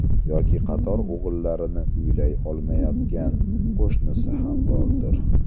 Yoki qator o‘g‘illarini uylay olmayotgan qo‘shnisi ham bordir.